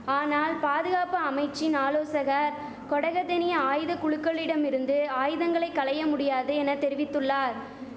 ஆனால் பாதுகாப்பு அமைச்சின் ஆலேசகர் கொடகதெனிய ஆயுத குழுகளிடமிருந்து ஆயுதங்களை களைய முடியாது என தெரிவித்துள்ளார்